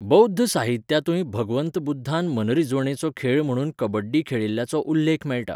बौध्द साहित्यांतूय भगवंत बुध्दान मनरिजवणेचो खेळ म्हणून कबड्डी खेळिल्ल्याचो उल्लेख मेळटा.